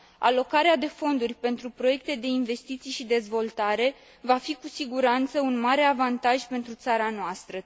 Alocarea de fonduri pentru proiecte de investiții și dezvoltare va fi cu siguranță un mare avantaj pentru țara noastră.